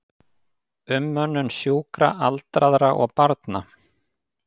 Umönnun sjúkra, aldraðra og barna.